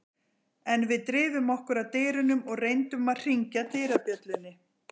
En við drifum okkur að dyrunum og reyndum að hringja dyrabjöllunni.